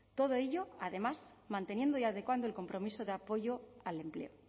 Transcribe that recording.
todo ello además manteniendo y adecuando el compromiso de apoyo al empleo